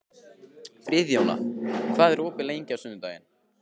Friðjóna, hvað er opið lengi á sunnudaginn?